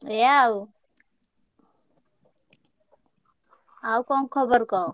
ଏୟା ଆଉ ଆଉ କଣ ଖବର କହ?